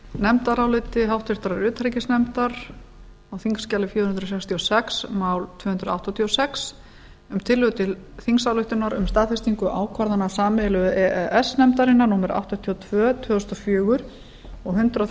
nefndaráliti háttvirtur utanríkisnefndar á þingskjali fjögur hundruð sextíu og sex mál tvö hundruð áttatíu og sex um tillögu til þingsályktunar um staðfestingu ákvarðana sameiginlegu e e s nefndarinnar númer áttatíu og tvö tvö þúsund og fjögur og hundrað